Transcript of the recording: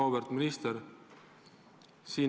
Auväärt minister!